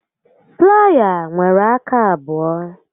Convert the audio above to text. Playa nwere aka abụọ